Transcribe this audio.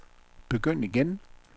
begynd igen